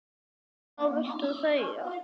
Núna viltu þegja.